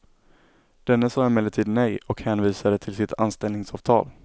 Denne sade emellertid nej och hänvisade till sitt anställningsavtal.